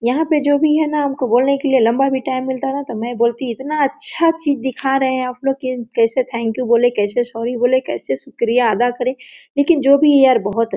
यहाँ पे जो भी है ना हमको बोलने के लिए लम्बा भी टाइम मिलता है मै बोलती इतना अच्छा चीज दिखा रहे है आपलोग कैसे थैंक यू बोले कैसे सॉरी बोले कैसे शुक्रियादा करे लेकिन जो भी है यार बहुत --